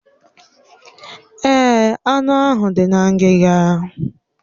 Èè, anụ ahụ dị na ngiga.